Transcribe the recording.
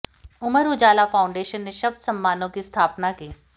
अमर Ujala foundation ने शब्द सम्मानों की स्थापना की